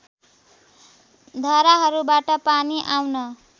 धाराहरूबाट पानी आउन